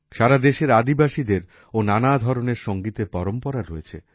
সারা দেশের আদিবাসীদের ও নানা ধরনের সংগীতের পরম্পরা রয়েছে